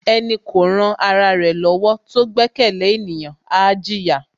Ẹni kò ran ra ẹ lọ́wọ́ tó gbẹ́kẹ̀lé ènìyàn, á jìyà.